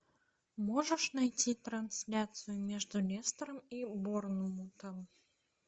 можешь найти трансляцию между лестером и борнмутом